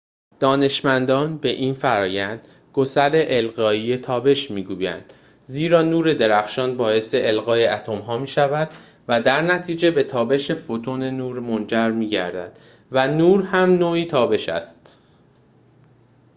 دانشمندان به این فرآیند گسیل القایی تابش می‌گویند زیرا نور درخشان باعث القای اتم‌ها می‌شود و درنتیجه به تابش فوتون نور منجر می‌گردد و نور هم نوعی تابش است